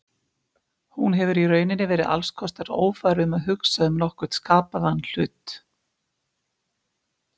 Hún hefur í rauninni verið alls kostar ófær um að hugsa um nokkurn skapaðan hlut.